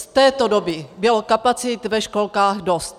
Z této doby bylo kapacit ve školkách dost.